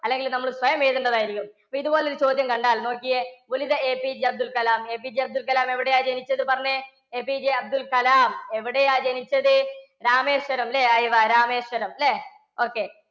അല്ലെങ്കിൽ നമ്മൾ സ്വയം എഴുതണ്ടത് ആയിരിക്കും. അപ്പോൾ ഇതുപോലെ ഒരു ചോദ്യം കണ്ടാൽ നോക്കിയേ APJ അബ്ദുൽ കലാം APJ അബ്ദുൽ കലാം എവിടെയാണ് ജനിച്ചത്? പറഞ്ഞേ? APJ അബ്ദുൽ കലാം എവിടെയാ ജനിച്ചത്? രാമേശ്വരം അല്ലേ? രാമേശ്വരം അല്ലേ? okay